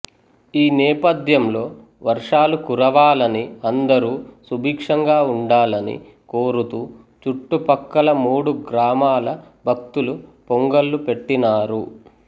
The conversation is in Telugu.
ఈ నేపథ్యంలో వర్షాలు కురవాలని అందరూ సుభిక్షంగా ఉండాలని కోరుతూ చుట్టు ప్రక్కల మూడు గ్రామాల భక్తులుపొంగళ్ళు పెట్టినారు